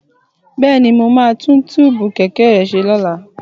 Bẹ́ẹ̀ni, mo máa tún tíìbù kẹ̀kẹ́ rẹ ṣe lọ́la